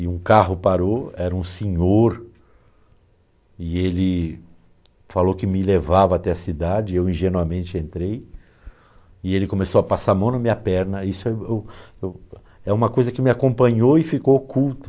e um carro parou, era um senhor, e ele falou que me levava até a cidade, eu ingenuamente entrei, e ele começou a passar a mão na minha perna, isso é eu eu é uma coisa que me acompanhou e ficou oculto,